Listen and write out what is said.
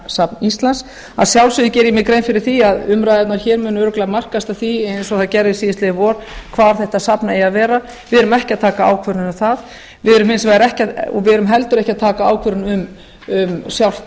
náttúruminjasafn íslands að sjálfsögðu geri ég mér grein fyrir því að umræðurnar hér munu örugglega markast af því eins og þær gerðu síðastliðið vor hvar þetta safn eigi að vera við erum ekki að taka ákvörðun um það við erum heldur ekki að taka ákvörðun um sjálft